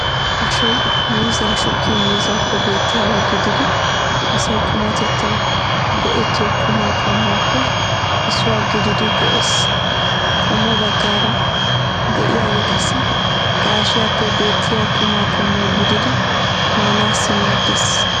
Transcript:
Ashoy miizzaa shukkin miizzaappe beettiyaaba gididi asay qumatettawu go'ettiyo qumaa qommuwaappe issuwa gididi go'ees. Qommo baggaara de'iyaage qassi gaashiyappe beettiya quma qommo gididi maanaassi maaddeees.